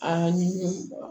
Aa ni mɔgɔ